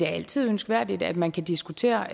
altid ønskværdigt at man kan diskutere